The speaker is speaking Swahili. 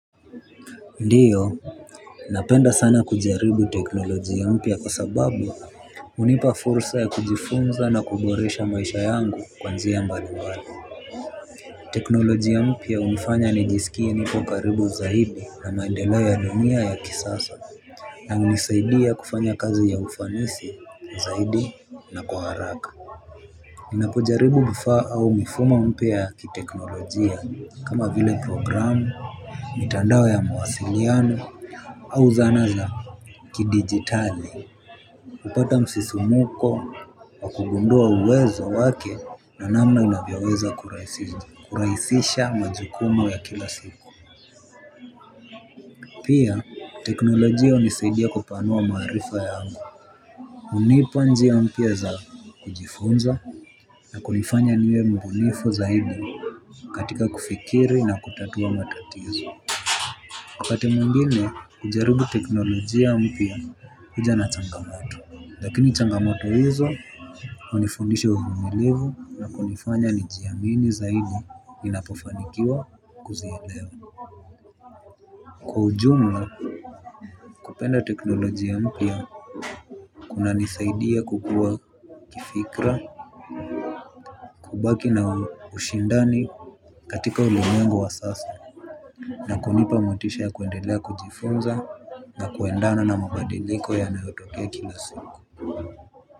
Ndiyo. Napenda sana kujaribu teknolojia mpya kwa sababu hunipa fursa ya kujifunza na kuboresha maisha yangu kwa njia mbalimbali. Teknolojia mpya hunifanya nijisikie niko karibu zaidi na maendeleo ya dunia ya kisasa. Na hunisaidia kufanya kazi ya ufanisi zaidi na kwa haraka. Ninapojaribu vifaa au mifumo mpya ya kiteknolojia kama vile programu, mitandao ya mawasiliano. Au zana za ki digitali kupata msisimuko wa kugundua uwezo wake na namna inavyoweza kuraisisha majukumu ya kila siku. Pia teknolojia hunisaidia kupanua maarifa yangu hunipa njia mpya za kujifunza na kunifanya niwe mbunifu zaidi katika kufikiri na kutatua matatizo. Wakati mwingine kujaribu teknolojia mpya huja na changamota. Lakini changamoto hizo hunifundisha uvumilivu na kunifanya nijiamini zaidi ninapofanikiwa kuzielewa. Kwa ujumla kupenda teknolojia mpya kuna nisaidia kukua kifikra kubaki na ushindani katika ulimwengu wa sasa na kunipa motisha ya kuendelea kujifunza na kuendana na mabadiliko ya nayotokea kila siku.